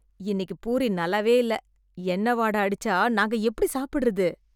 இன்னிக்கு பூரி நல்லாவே இல்ல... எண்ணெய் வாட அடிச்சா நாங்க எப்டி சாப்டறது?